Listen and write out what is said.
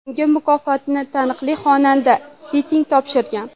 Unga mukofotni taniqli xonanda Sting topshirgan.